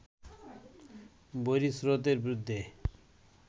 বৈরী স্রোতের বিরুদ্ধে